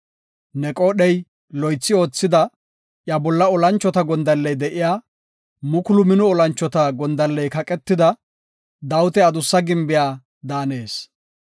Ne qoodhey loythi oothida, iya bolla olanchota gondalley de7iya, mukulu mino olanchota gondalley kaqetida, Dawita adussa gimbiya daanees.